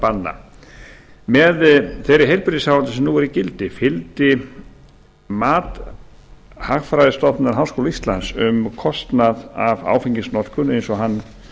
banna með þeirri heilbrigðisáætlun sem nú er í gildi fylgdi mat hagfræðistofnunar háskóla íslands um kostnað af áfengisnotkun eins og hann